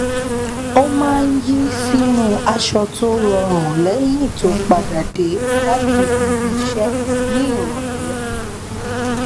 ó maá n yí sínú aṣọ tó rọrùn lẹyìn tó padà dé láti ibi iṣẹ ní ìrọlẹ